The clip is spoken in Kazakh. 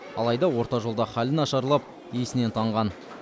алайда орта жолда халі нашарлап есінен танған